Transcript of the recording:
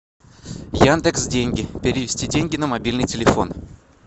яндекс деньги перевести деньги на мобильный телефон